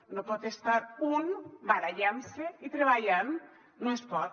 no pot estar un barallant se i treballant no es pot